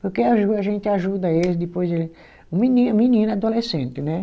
Porque a gente ajuda eles, depois ele. Menino menino, adolescente, né?